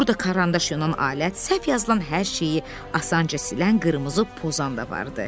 Burda karandaş yonan alət, səhv yazılan hər şeyi asanca silən qırmızı pozan da vardı.